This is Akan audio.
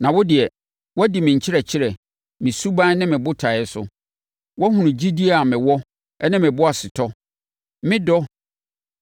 Na wo deɛ, woadi me nkyerɛkyerɛ, me suban ne me botaeɛ so. Woahunu gyidie a mewɔ ne me boasetɔ, me dɔ,